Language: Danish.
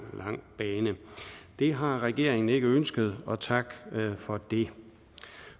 bane det har regeringen ikke ønsket og tak for det